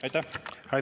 Aitäh!